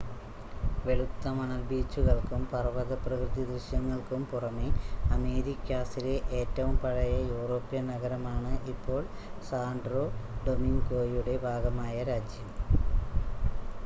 വെളുത്ത മണൽ ബീച്ചുകൾക്കും പർവത പ്രകൃതിദൃശ്യങ്ങൾക്കും പുറമെ അമേരിക്കാസിലെ ഏറ്റവും പഴയ യൂറോപ്യൻ നഗരമാണ് ഇപ്പോൾ സാൻ്റോ ഡൊമിംഗോയുടെ ഭാഗമായ രാജ്യം